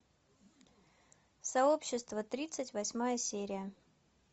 сообщество тридцать восьмая серия